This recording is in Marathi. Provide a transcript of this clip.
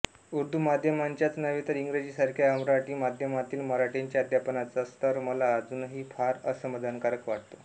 उर्दू माध्यमाच्याच नव्हे तर इंग्रजीसारख्या अमराठी माध्यमातील मराठीच्या अध्यापनाचा स्तर मला अजूनही फार असमाधानकारक वाटतो